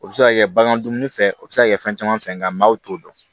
O bɛ se ka kɛ bagan dumuni fɛ o bɛ se ka kɛ fɛn caman fɛn nka maaw t'o dɔn